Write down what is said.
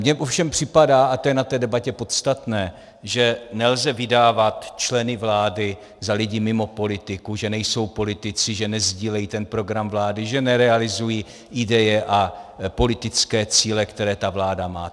Mně ovšem připadá, a to je na té debatě podstatné, že nelze vydávat členy vlády za lidi mimo politiku, že nejsou politici, že nesdílejí ten program vlády, že nerealizují ideje a politické cíle, které ta vláda má.